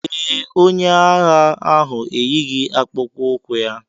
Ee, onye agha ahụ eyighị akpụkpọ ụkwụ ya.